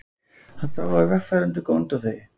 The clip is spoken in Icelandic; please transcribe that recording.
Hann sá að vegfarendur góndu á þau.